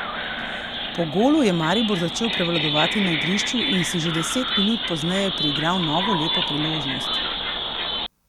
Po golu je Maribor začel prevladovati na igrišču in si že deset minut pozneje priigral novo lepo priložnost.